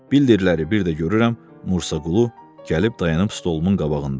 Bildirilərləri bir də görürəm Musa Qulu gəlib dayanıb stolumun qabağında.